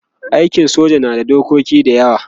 aikin soja na da dokoki da yawa